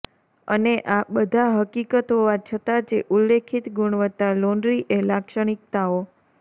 અને આ બધા હકીકત હોવા છતાં જે ઉલ્લેખિત ગુણવત્તા લોન્ડ્રી એ લાક્ષણિકતાઓ